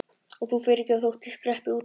Og þú fyrirgefur þótt ég skreppi út eftir.